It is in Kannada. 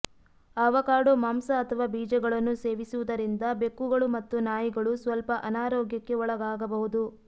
ಆವಕಾಡೊ ಮಾಂಸ ಅಥವಾ ಬೀಜಗಳನ್ನು ಸೇವಿಸುವುದರಿಂದ ಬೆಕ್ಕುಗಳು ಮತ್ತು ನಾಯಿಗಳು ಸ್ವಲ್ಪ ಅನಾರೋಗ್ಯಕ್ಕೆ ಒಳಗಾಗಬಹುದು